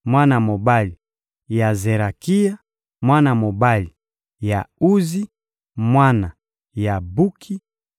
mwana mobali ya Zerakia, mwana mobali ya Uzi, mwana ya Buki,